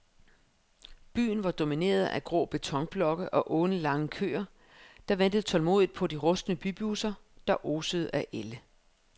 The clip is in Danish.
Byen var domineret af grå betonblokke og alenlange køer, der ventede tålmodigt på de rustne bybusser, der osede af ælde.